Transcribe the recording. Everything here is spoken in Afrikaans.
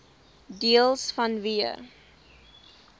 deels vanweë